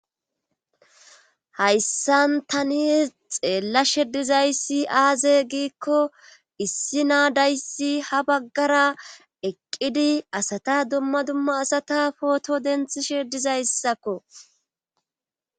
hayssan tani xeellashe dizayssi aaze giikko issi naadayssi ha baggara eqqidi asata dumma dumma asata pooto denthishe dizayssakko